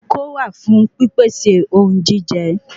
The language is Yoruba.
Okó wà fún pí pèsè ohun jíjẹ